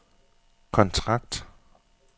kontrakt